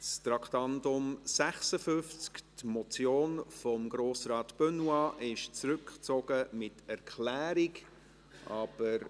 Das Traktandum 56, die Motion von Grossrat Benoit, wurde mit Erklärung zurückgezogen.